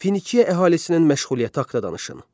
Finiya əhalisinin məşğuliyyəti haqda danışın.